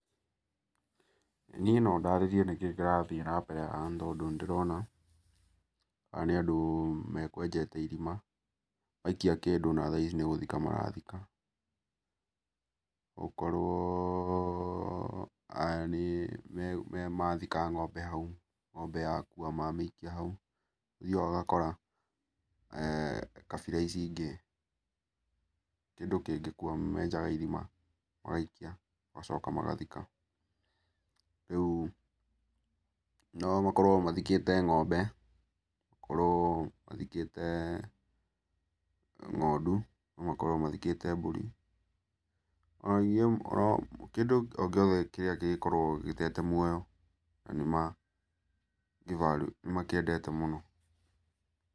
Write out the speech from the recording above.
Niĩ no ndarĩrie nĩkĩĩ kĩrathiĩ namebere haha nĩtondũ nĩndĩrona, aya nĩ andũ mekwenjete irima, maikia kĩndũ na thaa ici nĩgũthika marathika. Ũkorwo aya nĩ mathika ng'ombe hau. Ng'ombe yakua mamĩikia hau. Nĩ ũthiaga ũgakora kabira ici ingĩ, kĩndũ kĩngĩkua, menjaga irima magaikia, magacoka magathika. Rĩu nomakorwo mathikĩte ng'ombe, okorwo mathikĩe ng'ondu, nomakorwo mathikĩte mbũri. Kĩndũ o gĩothe kĩrĩa kĩngĩkorwo gĩtete muoyo nanĩmagĩ value nĩmakĩendete mũno.